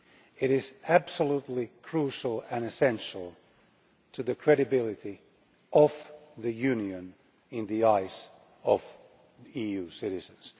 it is absolutely crucial and essential to the credibility of the Union in the eyes of EU citizens.